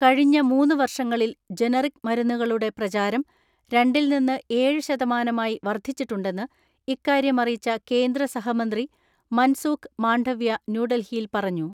കഴിഞ്ഞ മൂന്നു വർഷങ്ങളിൽ ജനറിക് മരുന്നുകളുടെ പ്രചാരം രണ്ടിൽ നിന്ന് ഏഴ് ശതമാനമായി വർദ്ധിച്ചിട്ടുണ്ടെന്ന് ഇക്കാര്യമറിയിച്ച കേന്ദ്രസഹമന്ത്രി മൻസൂഖ് മാണ്ഡവ്യ ന്യൂഡൽഹിയിൽ പറ ഞ്ഞു.